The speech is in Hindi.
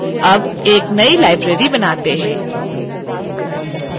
add एक now library बनाते हैं